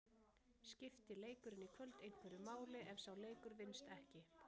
Skipti leikurinn í kvöld einhverju máli ef sá leikur vinnst ekki?